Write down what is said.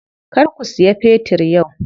Kar ku siya fetir yau.